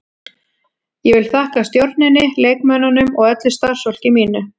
Ég vil þakka stjórninni, leikmönnunum og öllu starfsfólki mínu.